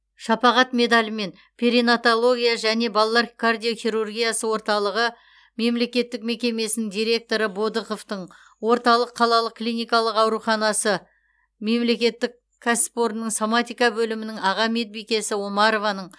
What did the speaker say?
шапағат медалімен перинатология және балалар кардиохирургиясы орталығы мемлекеттік мекемесінің директоры бодықовтың орталық қалалық клиникалық аурухана мемлекеттік кәсіпорынның соматика бөлімінің аға медбикесі омарованың